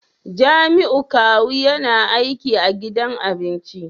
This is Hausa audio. Jamiu kawu yana aiki a gidan abinci